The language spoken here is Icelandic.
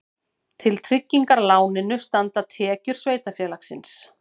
Til tryggingar láninu standa tekjur sveitarfélagsins